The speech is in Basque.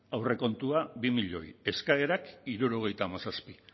aurrekontua bi milioi eskaerak hirurogeita hamazazpi